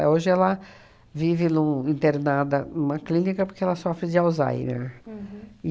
É hoje ela vive num internada numa clínica porque ela sofre de Alzheimer.